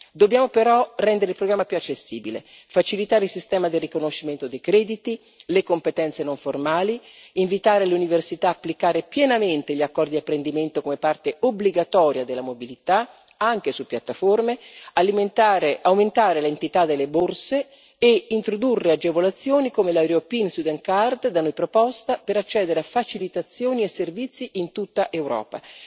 Dobbiamo però rendere il programma più accessibile, facilitare il sistema di riconoscimento dei crediti e le competenze non formali, invitare le università ad applicare pienamente gli accordi di apprendimento come parte obbligatoria della mobilità, anche su piattaforme, aumentare l'entità delle borse e introdurre agevolazioni come la European student card da noi proposta per accedere a facilitazioni e servizi in tutta Europa.